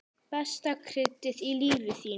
Besta kryddið í lífi þínu.